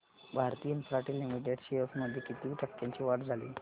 Bharti Infratel limited shares मध्ये किती टक्क्यांची वाढ झाली